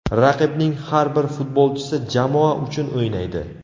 Raqibning har bir futbolchisi jamoa uchun o‘ynaydi.